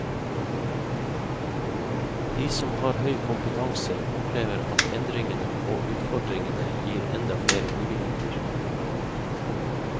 De som har høy kompetanse, opplever at endringene og utfordringene gir enda flere muligheter.